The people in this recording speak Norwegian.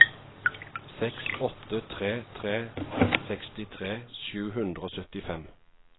seks åtte tre tre sekstitre sju hundre og syttifem